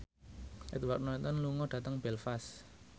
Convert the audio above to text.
Edward Norton lunga dhateng Belfast